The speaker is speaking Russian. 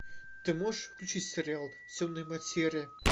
ты можешь включить сериал темная материя